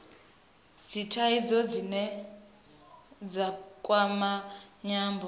dzithaidzo dzine dza kwama nyambo